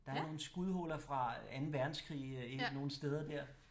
Der er nogle skudhuller fra 2. verdenskrig nogle steder dér